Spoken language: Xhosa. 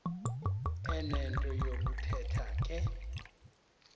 enento yokuthetha ke